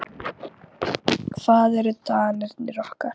Hvar eru danirnir okkar?